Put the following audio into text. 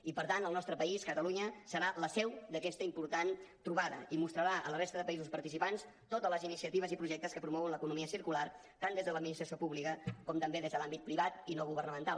i per tant el nostre país catalunya serà la seu d’aquesta important trobada i mostrarà a la resta de països participants totes les iniciatives i projectes que promouen l’economia circular tant des de l’administració pública com també des de l’àmbit privat i no governamental